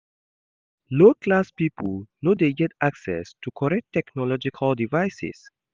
Low class pipo no de get access to correct technological devices